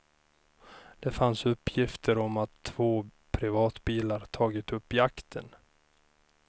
Det fanns uppgifter om att två privatbilar tagit upp jakten.